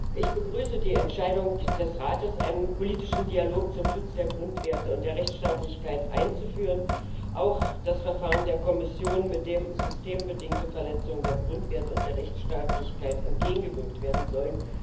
Frau Präsidentin! Ich begrüße die Entscheidung des Rates, einen politischen Dialog zum Schutz der Grundwerte und der Rechtsstaatlichkeit einzuführen und auch das Verfahren der Kommission, mit dem systembedingten Verletzungen der Grundwerte und Rechtsstaatlichkeit entgegengewirkt werden soll.